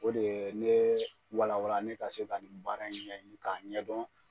O de ye ne walawala ne ka se ka nin baara ɲɛɲin ka ɲɛdɔn.